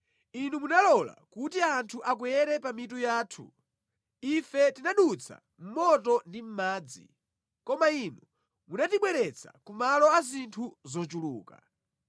Inu munalola kuti anthu akwere pa mitu yathu; ife tinadutsa mʼmoto ndi mʼmadzi, koma Inu munatibweretsa ku malo a zinthu zochuluka.